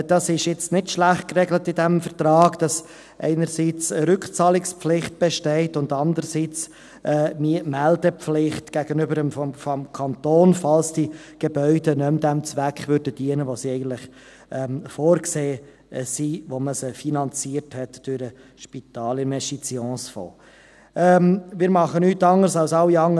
Es ist im Vertrag nicht schlecht geregelt, dass zum einen eine Rückzahlungspflicht besteht und zum anderen eine Meldepflicht gegenüber dem Kanton, falls die Gebäude nicht mehr dem Zweck dienten, für den sie vorgesehen wurden, als man sie durch den Spitalfinanzierungsfonds finanziert hatte.